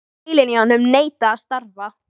Heilinn í honum neitaði að starfa.